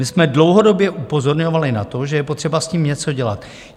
My jsme dlouhodobě upozorňovali na to, že je potřeba s tím něco dělat.